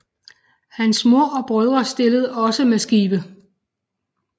Hans mor og brødre stillede også med skibe